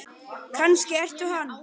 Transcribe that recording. Kannski ertu hann?